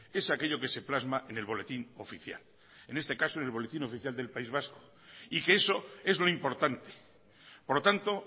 es aquello que se plasma en el boletín oficial en este caso en el boletín oficial del país vasco y que eso es lo importante por lo tanto